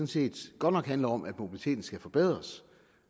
set godt nok handler om at mobiliteten skal forbedres